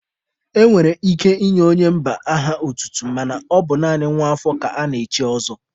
E nwere ike inye onye mba aha otutu mana ọ bụ naanị nwa afọ ka ana-echi ọzọ.